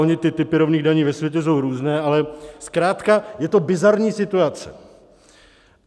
Ony ty typy rovných daní ve světě jsou různé, ale zkrátka je to bizarní situace.